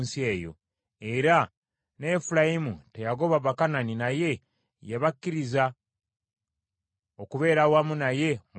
Era ne Efulayimu teyagoba Bakanani naye yabakkiriza okubeera awamu naye mu Gezeri.